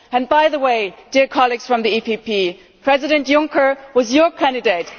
By the way, colleagues from the EPP, President Juncker was your candidate.